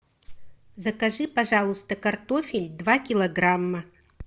закажи пожалуйста картофель два килограмма